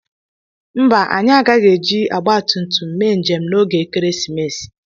Mbà anyị agaghị eji ogbatumtum mee njem n'oge ekeresimesi.